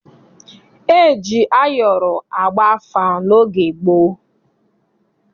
E ji ayọrọ agba afa n'oge gboo.